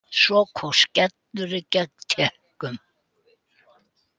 Svo kom skellurinn gegn Tékkum.